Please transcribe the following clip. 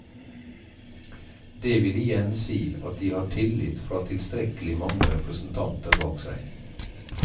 Det vil igjen si at de har tillit fra tilstrekkelig mange representanter bak seg.